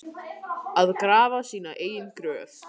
Að grafa sína eigin gröf